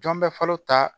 Jɔn bɛ falen ta